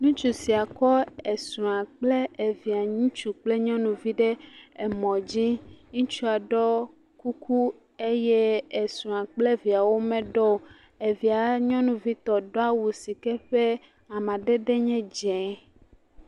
ŋutsu sia kɔ esrɔ kple evia nyɔnu kple ŋutsuvi ɖe emɔ dzi ŋutsua ɖɔ kuku eye esrɔ kple eviawo meɖɔ o evia nyɔnuvitɔ ɖó awu sike ƒɛ amadɛdɛ nye dzɛ̃